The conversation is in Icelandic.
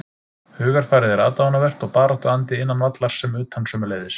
Hugarfarið er aðdáunarvert og baráttuandi innan vallar sem utan sömuleiðis.